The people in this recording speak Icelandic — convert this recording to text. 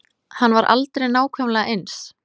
Hann er aldrei nákvæmlega eins.